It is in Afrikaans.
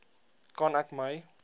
kan ek my